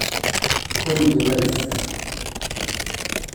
Mongo ake!